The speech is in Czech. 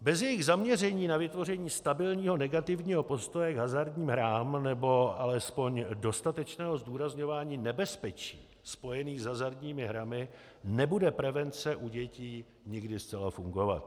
Bez jejich zaměření na vytvoření stabilního negativního postoje k hazardním hrám nebo alespoň dostatečného zdůrazňování nebezpečí spojených s hazardními hrami nebude prevence u dětí nikdy zcela fungovat.